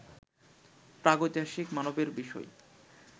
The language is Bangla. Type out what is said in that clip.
প্রাগৈতিহাসিক মানবের বিষয়